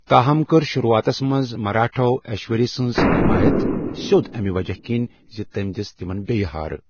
تاہم کٔر شروٗعاتس منٛز مراٹھاہو ایشوری سٕنٛز حٮ۪مایت، سیود امہِ وجہہ كِنہِ زِ تٔمۍ دِژٕ تِمن بیٚیہ ہارٕ ۔